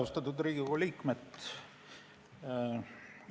Austatud Riigikogu liikmed!